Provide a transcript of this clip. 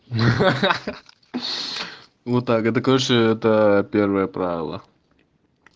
вот так это короче это первое правило